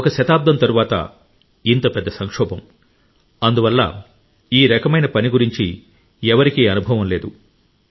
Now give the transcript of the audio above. ఒక శతాబ్దం తరువాత ఇంత పెద్ద సంక్షోభం అందువల్ల ఈ రకమైన పని గురించి ఎవరికీ అనుభవం లేదు